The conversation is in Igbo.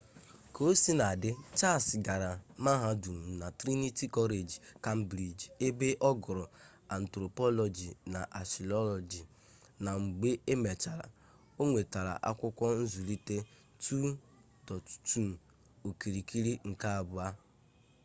kaosinadị charles gara mahadum na trinity college cambridge ebe ọ gụrụ anthropology na archaeology na mgbe e mechara ọ nwetara akwụkwọ nzụlite 2: 2 okirikiri nke abụọ